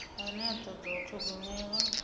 ane a toda u thogomelwa